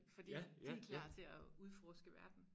Fordi de klar til at udforske verden